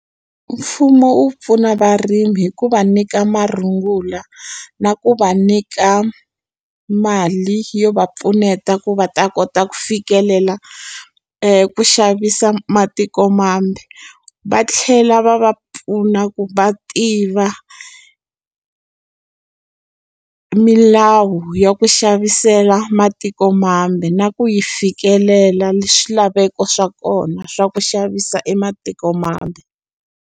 Mfumo wu pfuna varimi hikuva nyika marungula na ku va nyika mali yo va pfuneta ku va ta kota ku fikelela ku xavisa matiko mambe va tlhela va va pfuna ku va tiva milawu ya ku xavisela matiko mambe na ku yi fikelela swilaveko swa kona swa ku xavisa ematiko mambe.